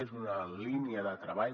és una línia de treball